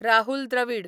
Rahul Dravida